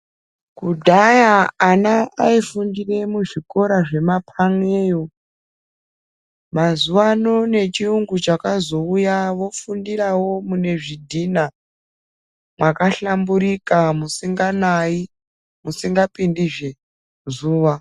Kudhara ana aifundira muzvikora zvemapaneyo, mazuwano nechirungu chakazouya vofundirawo mune zvidhina makahlamburika, musinganayi musingapindezve zuva.